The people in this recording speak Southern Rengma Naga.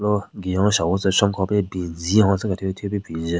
Ro günyo shahvu tsü shwan khope binzin hontse kethyu thyu pe bin njun.